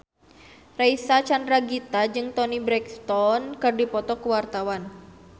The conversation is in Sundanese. Reysa Chandragitta jeung Toni Brexton keur dipoto ku wartawan